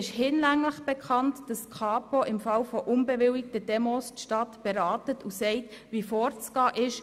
Hinlänglich bekannt ist, dass die Kapo die Stadt im Fall von unbewilligten Demonstrationen berät und sagt, wie vorzugehen ist.